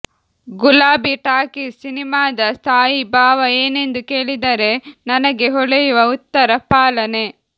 ಗುಲಾಬಿ ಟಾಕೀಸ್ ಸಿನಿಮಾದ ಸ್ಥಾಯಿ ಭಾವ ಏನೆಂದು ಕೇಳಿದರೆ ನನಗೆ ಹೊಳೆಯುವ ಉತ್ತರ ಪಾಲನೆ